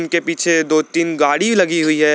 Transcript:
के पीछे दो तीन गाड़ी लगी हुई है।